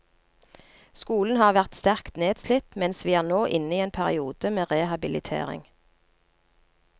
Skolen har vært sterkt nedslitt, mens vi er nå inne i en periode med rehabilitering.